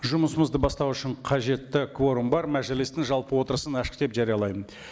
жұмысымызды бастау үшін қажетті кворум бар мәжілістің жалпы отырысын ашық деп жариялаймын